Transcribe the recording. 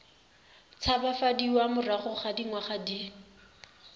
tshabafadiwa morago ga dingwaga di